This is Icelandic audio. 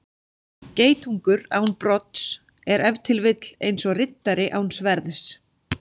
Geitungur án brodds er ef til vill eins og riddari án sverðs.